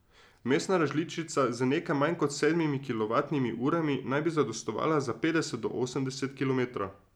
Vmesna različica z nekaj manj kot sedmimi kilovatnimi urami naj bi zadostovala za petdeset do osemdeset kilometrov.